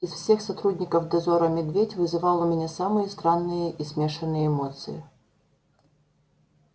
из всех сотрудников дозора медведь вызывал у меня самые странные и смешанные эмоции